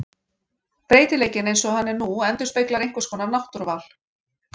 Breytileikinn eins og hann er nú endurspeglar einhvers konar náttúruval.